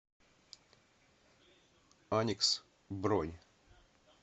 аникс бронь